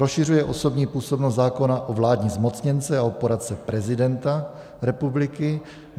Rozšiřuje osobní působnost zákona o vládní zmocněnce a o poradce prezidenta republiky.